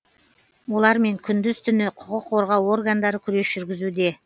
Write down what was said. олармен күндіз түні құқық қорғау органдары күрес жүргізуде